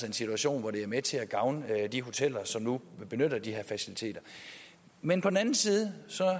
en situation hvor det er med til at gavne de hoteller som nu benytter de her faciliteter men på den anden side